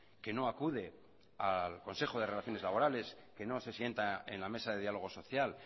que no acude al consejo de relaciones laborales que no se sienta en la mesa de diálogo social